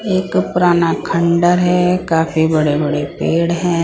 एक पुराना खंडर है काफी बड़े-बड़े पेड़ है।